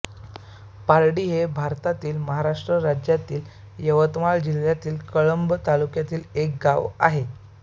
पारडी हे भारतातील महाराष्ट्र राज्यातील यवतमाळ जिल्ह्यातील कळंब तालुक्यातील एक गाव आहे